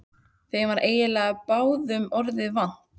Þeim var eiginlega báðum orða vant.